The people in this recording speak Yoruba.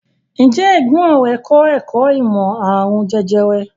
Ǹjẹ́ ẹ̀gbọ́n rẹ̀ kọ́ ẹ̀kọ́ ìmọ̀ àrùn jẹjẹrẹ?